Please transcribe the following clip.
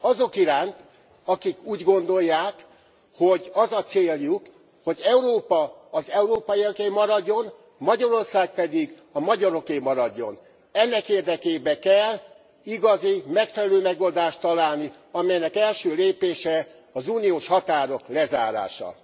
Azok iránt, akik úgy gondolják, hogy az a céljuk, hogy Európa az európaiaké maradjon, Magyarország pedig a magyaroké maradjon. Ennek érdekében kell igazi, megfelelő megoldást találni, amelynek első lépése az uniós határok lezárása.